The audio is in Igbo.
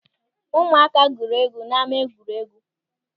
Ụmụaka gwuru egwu n'ama egwuregwu.